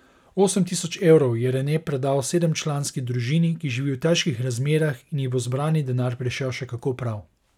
Osem tisoč evrov je Rene predal sedemčlanski družini, ki živi v težkih razmerah in ji bo zbrani denar prišel še kako prav.